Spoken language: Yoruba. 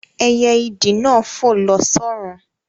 Ẹyẹ ìdì náà fò lọ s'ọ́run